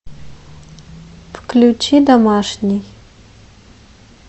включи домашний